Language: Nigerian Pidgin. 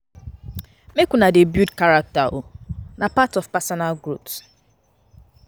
Make una dey build character o, na part of personal growth.